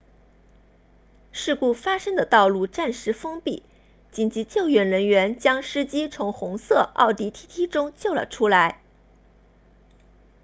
事故发生的道路暂时封闭紧急救援人员将司机从红色奥迪 tt 中救了出来